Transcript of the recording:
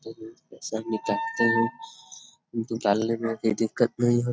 हर रोज पैसा निकालते हैं निकालने में कोई दिक्कत नहीं हो --